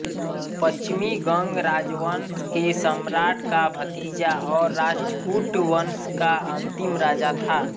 पश्चिमी गंग राजवंश के सम्राट का भतीजा और राष्ट्रकूट वंश का अंतिम राजा था